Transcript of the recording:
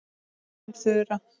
Þín Þura.